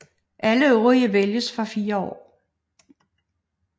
Alle øvrige vælges for fire år